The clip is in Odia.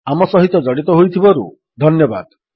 ଆମ ସହିତ ଜଡ଼ିତ ହୋଇଥିବାରୁ ଧନ୍ୟବାଦ